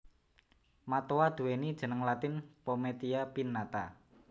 Matoa nduwéni jeneng latin Pometia pinnata